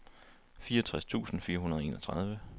fireogtres tusind fire hundrede og enogtredive